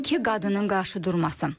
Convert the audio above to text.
İki qadının qarşıdurması.